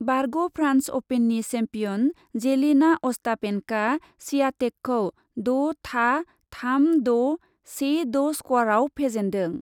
बारग' फ्रान्स अपेननि champion Jelena अस्टापेन्क'आ स्वियातेकखौ द' था,, थाम द', से द' स्करआव फेजेन्दों ।